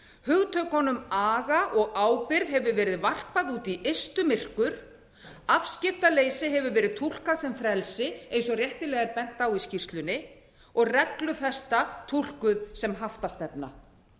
hugtökunum aga og ábyrgð hefur verið varpað út í ystu myrkur afskiptaleysi hefur verið túlkað sem frelsi eins og réttilega er bent á í skýrslunni og reglufesta túlkuð sem haftastefna jafnvel fræðasamfélagið túlkuð sem haftastefna